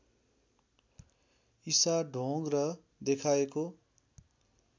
ईसा ढोंग र देखाएको